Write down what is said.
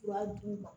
U b'a d'u ma